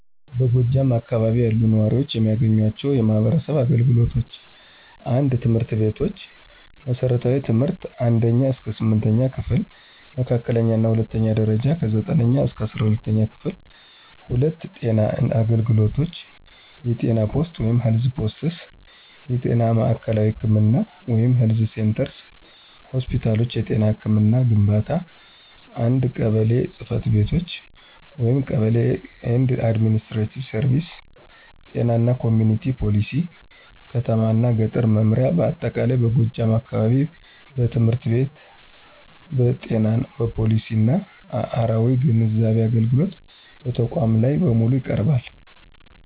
በጎጃም አካባቢ ያሉ ነዋሪዎች የሚያገኟቸው የማህበረሰብ አገልግሎቶች: 1. ትምህርት ቤቶች መሠረታዊ ትምህርት (1ኛ–8ኛ ክፍል) መካከለኛ እና ሁለተኛው ደረጃ(9ኛ-12ኛ ክፍል) 2. ጤና አገልግሎቶች የጤና ፖስት (Health Posts) የጤና ማዕከላዊ ህክምና (Health Centers) ሆስፒታሎች የጤና ህክምና ግንባታ 1. ቀበሌ ጽ/ቤቶች (Kebele & Administrative Services ጤና እና ኮሚኩኒቲ ፖሊሲ ከተማ እና ገጠር መምሪያ በአጠቃላይ በጎጃም አካባቢ በትምህርት በጤና በፖሊሲና አራዊ ግንዛቤ አገልግሎት በተቋማት ላይ በሙሉ ይቀርባል።